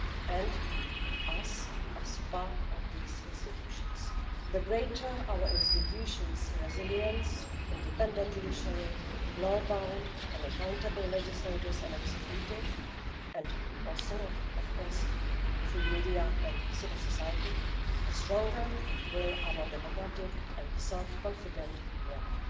and in us as part of these institutions. The greater our institutions' resilience, an independent judiciary, law bound and accountable legislators and executive and also of course free media and civil society the stronger will be our democratic and self-confident Europe.